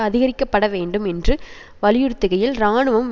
அதிகரிக்கப்பட வேண்டும் என்று வலியுறுத்துகையில் இராணுவம்